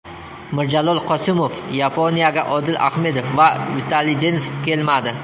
Mirjalol Qosimov: Yaponiyaga Odil Ahmedov va Vitaliy Denisov kelmadi.